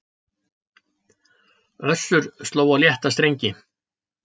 Össur sló á létta strengi